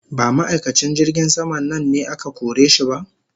Ba ma'aikacin jirgin sama nan ne aka kore shi ba?